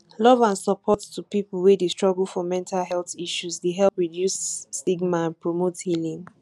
love and support to people wey dey struggle for mental health issues dey help reduce stigma and promote healing